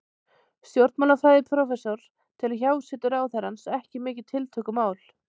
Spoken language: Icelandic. Stjórnmálafræðiprófessor telur hjásetu ráðherrans ekki mikið tiltökumál.